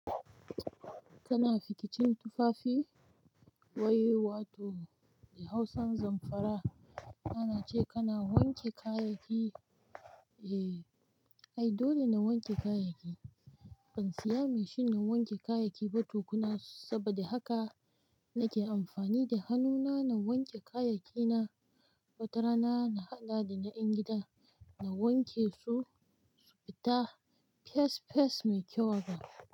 Kana fikicin tufafi? Wai wato a Hausan Zamfara ana ce kana wanke kayayyaki. Eh, ai dole na wanke kayayyaki. Ban siya mashin na wanke kayayyaki ba tukunna saboda haka nake amfani da hannuna na wanke kayayyaki na wata rana na haɗa da na ƴan gidan, na wanke su, su fita fes fes mai kyau haka.